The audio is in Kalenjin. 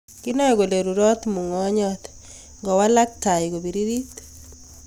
Kinae kole rurot mungonjot ndawalak tai ko piririt